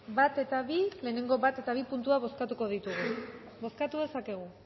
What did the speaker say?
bat eta bi lehenengoz bat eta bi puntuak bozkatuko ditugu bozkatu dezakegu